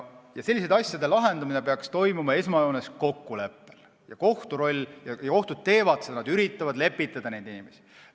Selliste asjade lahendamine peaks toimuma esmajoones kokkuleppel ja kui kohtud seda teevad, siis nad üritavad neid inimesi lepitada.